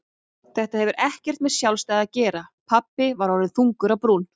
Þetta hefur ekkert með sjálfstæði að gera pabbi var orðinn þungur á brún.